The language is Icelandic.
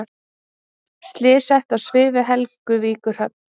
Slys sett á svið við Helguvíkurhöfn